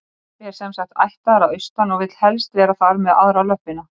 Pabbi er sem sagt ættaður að austan og vill helst vera þar með aðra löppina.